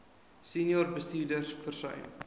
senior bestuurders versuim